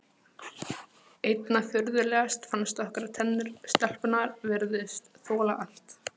Einna furðulegast fannst okkur að tennur stelpunnar virtust þola allt.